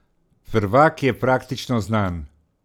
Prvak je praktično znan.